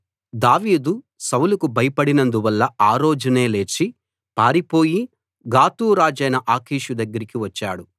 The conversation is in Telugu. దావీదు సౌలుకు భయపడినందువల్ల ఆ రోజునే లేచి పారిపోయి గాతు రాజైన ఆకీషు దగ్గరికి వచ్చాడు